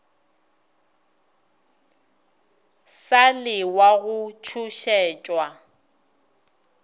sa le wa go tšhošetšwa